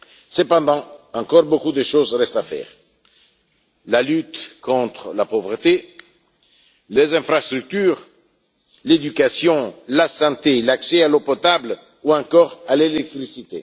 Cependant, beaucoup de choses restent à faire la lutte contre la pauvreté, les infrastructures, l'éducation, la santé, l'accès à l'eau potable ou encore à l'électricité.